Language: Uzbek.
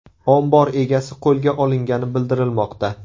Ombor egasi qo‘lga olingani bildirilmoqda.